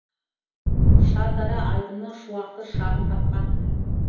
шардара айдыны шуақты шағын тапқан